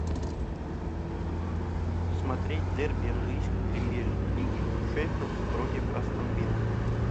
смотреть дерби английской премьер лиги шеффилд против астон виллы